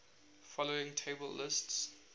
following table lists